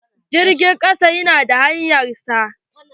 Jirgin ƙasa ta na da hanyar sa.